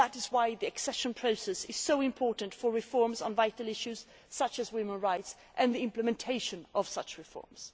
and that is why the accession process is so important with regard to reforms on vital issues such as women's rights, and the implementation of those reforms.